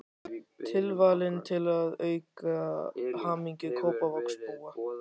Tilvalinn til að auka hamingju Kópavogsbúa.